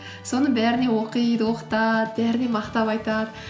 соны бәріне оқиды оқытады бәріне мақтап айтады